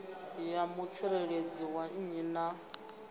ya mutsireledzi wa nnyi na